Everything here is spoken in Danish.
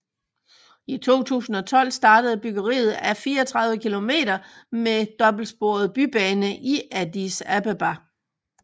I 2012 startede byggeriet af 34 kilometer med dobbeltsporet bybane i Addis Abeba